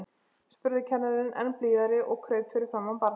spurði kennarinn enn blíðari og kraup fyrir framan barnið.